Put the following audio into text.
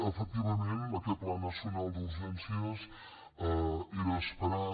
efectivament aquest pla nacional d’urgències era esperat